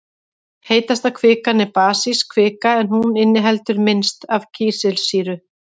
Heitasta kvikan er basísk kvika en hún inniheldur minnst af kísilsýru.